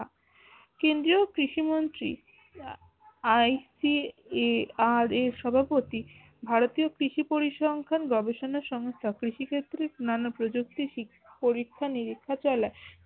কেন্দ্রীয় কৃষিমন্ত্রী ICARA এর সভাপতি ভারতীয় কৃষি পরিসংখ্যান গবেষণা সংস্থা কৃষি ক্ষেত্রে নানা প্রযুক্তির পরীক্ষা নিরীক্ষা চলে